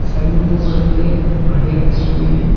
Side में दो बड़े-बड़े घड़े रखे हुए हैं।